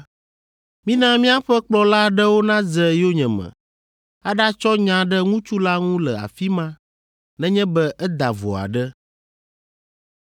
mina miaƒe kplɔla aɖewo nadze yonyeme aɖatsɔ nya ɖe ŋutsu la ŋu le afi ma nenye be eda vo aɖe.”